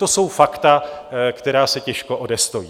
To jsou fakta, která se těžko odestojí.